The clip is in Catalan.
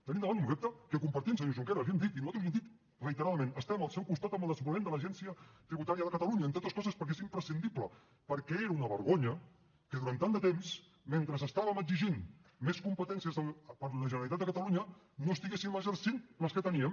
tenim davant un repte que compartim senyor junqueras l’hi hem dit i nosaltres l’hi hem dit reiteradament estem al seu costat en el desenvolupament de l’agència tributària de catalunya entre altres coses perquè és imprescindible perquè era una vergonya que durant tant de temps mentre estàvem exigint més competències per a la generalitat de catalunya no estiguéssim exercint les que teníem